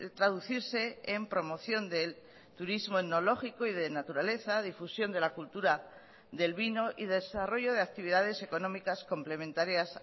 traducirse en promoción del turismo etnológico y de naturaleza difusión de la cultura del vino y desarrollo de actividades económicas complementarias